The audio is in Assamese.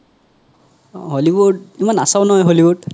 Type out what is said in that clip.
hollywood ইমান নাচাও নহয় hollywood